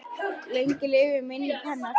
Lengi lifi minning hennar!